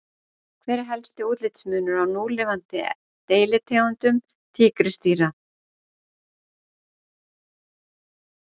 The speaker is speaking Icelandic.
Hver er helsti útlitsmunur á núlifandi deilitegundum tígrisdýra?